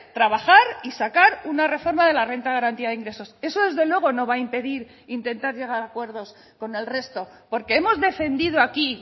trabajar y sacar una reforma de la renta de garantía de ingresos eso desde luego no va a impedir intentar llegar a acuerdos con el resto porque hemos defendido aquí